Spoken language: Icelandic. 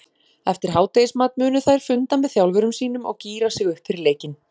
Eftir hádegismat munu þær funda með þjálfurum sínum og gíra sig upp fyrir leikinn.